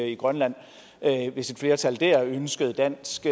i grønland hvis et flertal dér ønskede dansk